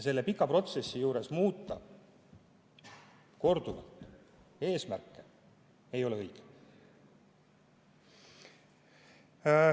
Selle pika protsessi juures korduvalt eesmärke muuta ei ole õige.